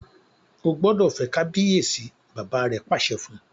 O gbódò fè kabiyesi! bàbá rẹ pàṣẹ fún.